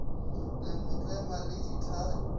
le mo tlema le dithai